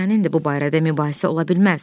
Ata sənindir bu barədə mübahisə ola bilməz.